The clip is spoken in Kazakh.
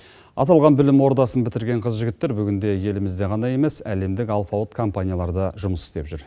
аталған білім ордасын бітірген қыз жігіттер бүгінде елімізде ғана емес әлемдік алпауыт компанияларда жұмыс істеп жүр